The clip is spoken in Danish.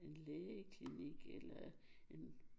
En lægeklinik eller en